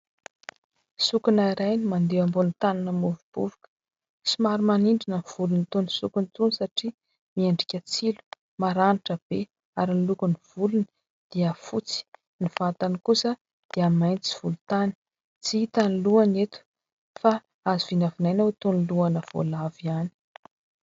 Sokona iray ny mandeha ambon'ny tany mamovombovoka somary manindrona ny volon'itony sokona itony satria miendrika tsilo maranitra be ary ny lokon'ny volony dia fotsy ny vatany kosa dia mainty volotany tsy hita ny lohany eto fa azo vinavinaina ho toy ny lohana voalavo ihany